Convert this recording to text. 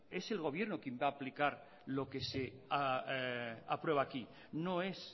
es el gobierno quien va a aplicar lo que se aprueba aquí no es